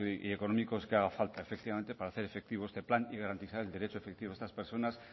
y económicos que haga falta efectivamente para hacer efectivo este plan y garantizar el derecho efectivo de estas personas